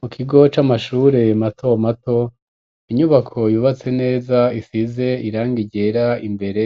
Mu kigo c'amashure mato mato inyubako yubatse neza isize irangi ryera imbere